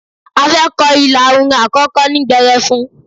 A fẹ́ kọ ilà orin àkọ́kọ́ ní gbẹrẹfun.